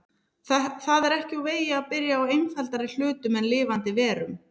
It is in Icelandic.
Það er ekki úr vegi að byrja á einfaldari hlutum en lifandi verum.